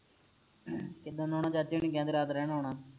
ਕਿੱਦਣ ਆਉਣਾ ਚਾਚੇ ਹੁਰੀ ਕਹਿਣਦੇ ਰਾਤ ਰਹਿਣ ਆਉਣਾ